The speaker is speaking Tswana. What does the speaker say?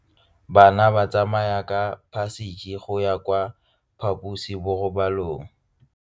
Bana ba tsamaya ka phašitshe go ya kwa phaposiborobalong.